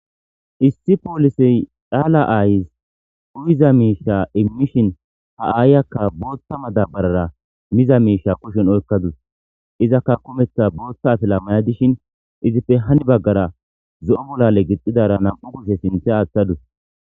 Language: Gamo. Issi poolisey dhaala aayis uyiza miisha immishin ha aayakka bootta madabarara miza miisha kushen oykkadus izakka kumetha boothta atila maya dishin izippe hani baggara zo'o molale gixxidara nam'u kushe sinthe aaththadus